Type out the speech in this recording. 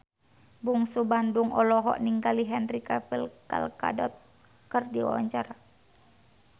Bungsu Bandung olohok ningali Henry Cavill Gal Gadot keur diwawancara